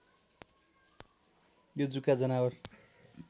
यो जुका जनावर